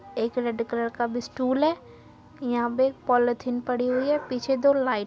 एक red colour का भी स्टूल है। यहाँ पे पॉलिथीन पड़ी हुई है। पीछे दो लाइट --